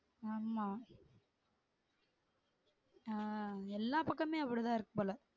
ஆமா ஆஹ் எல்லா பக்கமுமே அப்படிதான் இருக்குபோல